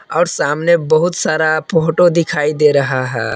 और सामने बहुत सारा फोटो दिखाई दे रहा है।